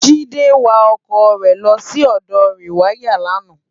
Jide wá òkò re lò si òdò riwàyá làná